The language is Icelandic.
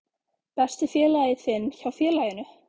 Besti félagi þinn hjá félaginu?